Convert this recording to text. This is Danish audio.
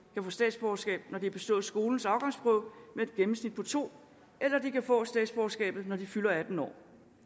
kan få statsborgerskab når de har bestået skolens afgangsprøve med et gennemsnit på to eller de kan få statsborgerskabet når de fylder atten år